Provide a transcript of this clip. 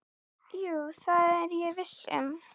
Kristján Már Unnarsson: Gæti fólk sætt sig við það hér?